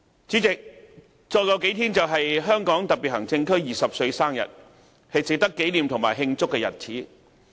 主席，再過數天便是香港特別行政區20歲生日，是值得紀念和慶祝的日子。